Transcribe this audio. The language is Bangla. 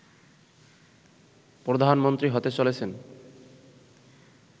প্রধানমন্ত্রী হতে চলেছেন